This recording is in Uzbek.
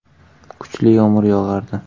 Kuchli yomg‘ir yog‘ardi.